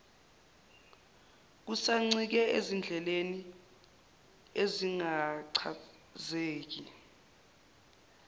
kusancike ezindleleni ezingachazeki